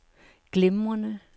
glimrende